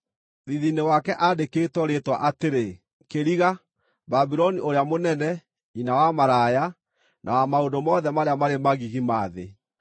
Thiithi-inĩ wake aandĩkwo rĩĩtwa atĩrĩ: KĨRIGA BABULONI ŨRĨA MŨNENE, NYINA WA MARAYA, NA WA MAŨNDŨ MOTHE MARĨA MARĨ MAGIGI MA THĨ.